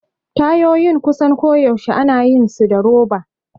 Tayoyin kusan koyaushe ana yin su da roba.